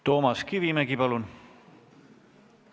Toomas Kivimägi, palun!